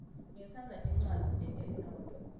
ngitsandza tincwadzi tetemnotfo